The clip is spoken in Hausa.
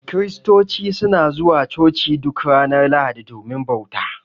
Kiristoci suna zuwa Coci duk ranar Lahadi domin bauta.